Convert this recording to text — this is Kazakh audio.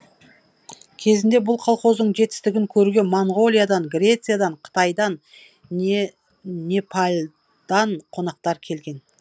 кезінде бұл колхоздың жетістігін көруге монғолиядан грециядан қытайдан непалдан қонақтар келген